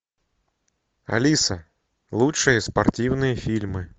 алиса лучшие спортивные фильмы